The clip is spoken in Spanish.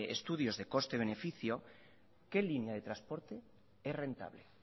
estudios de coste y beneficio qué línea de transporte es rentable